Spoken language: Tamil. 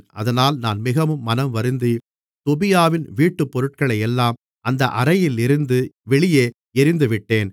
அதனால் நான் மிகவும் மனம் வருந்தி தொபியாவின் வீட்டுப்பொருட்களையெல்லாம் அந்த அறையிலிருந்து வெளியே எறிந்துவிட்டேன்